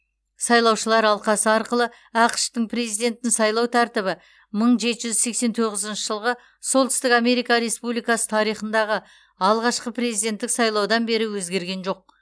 сайлаушылар алқасы арқылы ақш тың президентін сайлау тәртібі мың жеті жүз сексен тоғызыншы жылғы солтүстік америка республикасы тарихындағы алғашқы президенттік сайлаудан бері өзгерген жоқ